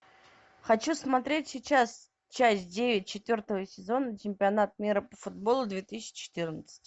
хочу смотреть сейчас часть девять четвертого сезона чемпионат мира по футболу две тысячи четырнадцать